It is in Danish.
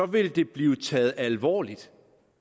ville det blive taget alvorligt